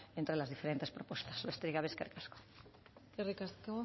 entre las diferentes propuestas besterik gabe eskerrik asko eskerrik asko